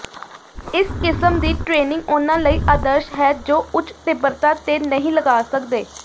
ਇਸ ਕਿਸਮ ਦੀ ਟ੍ਰੇਨਿੰਗ ਉਹਨਾਂ ਲਈ ਆਦਰਸ਼ ਹੈ ਜੋ ਉੱਚ ਤੀਬਰਤਾ ਤੇ ਨਹੀਂ ਲਗਾ ਸਕਦੇ